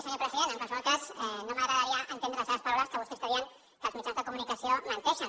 senyor president en qualsevol cas no m’agradaria entendre de les seves paraules que vostè està dient que els mitjans de comunicació menteixen